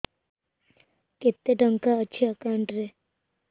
କେତେ ଟଙ୍କା ଅଛି ଏକାଉଣ୍ଟ୍ ରେ